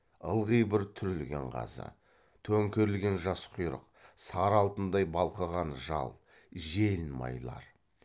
ылғи бір түрілген қазы төңкерілген жас құйрық сары алтындай балқыған жал желін майлар